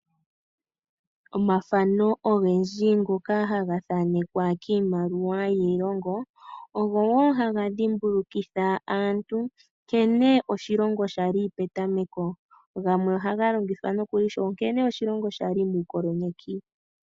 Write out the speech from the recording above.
Omathano ogendji ngoka haga thanekwa kiimaliwa yiilongo, ogo wo haga dhimbulukitha aantu nkene oshilongo sha li petameko, gamwe ohaga longithwa nokuli sho oshilongo sha li muukoloni.